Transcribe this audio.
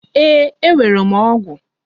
Ee, enwere m ọgụ.